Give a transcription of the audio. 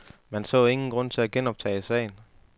Man så ingen grund til at genoptage sagen.